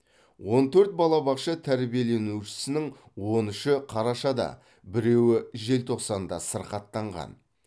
он төрт балабақша тәрбиеленушісінің он үші қарашада біреуі желтоқсанда сырқаттанған